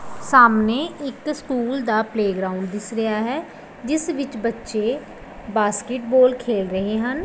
ਸਾਹਮਣੇ ਇੱਕ ਸਕੂਲ ਦਾ ਪਲੇਗਰਾਉਂਡ ਦਿਸ ਰਿਹਾ ਹੈ ਜਿਸ ਵਿੱਚ ਬੱਚੇ ਬਾਸਕਿਟਬਾਲ ਖੇਲ ਰਹੇ ਹਨ।